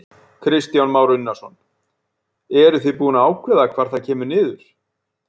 Kristján Már Unnarsson: Eruð þið búin að ákveða hvar það kemur niður?